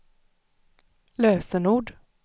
lösenord